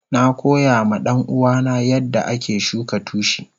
Na koya ma danuwa na yanda ake shuka tushi.